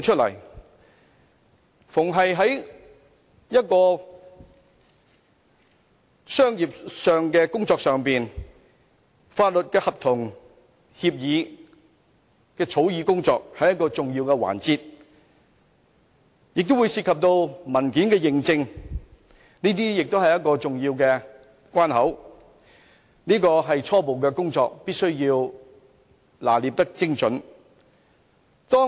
但凡商業上的法律合同、協議草擬工作，都是重要的環節，當中亦會涉及文件認證，這些都是重要關口，這些是必須拿捏精準的初步工作。